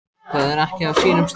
Það er ekki á sínum stað.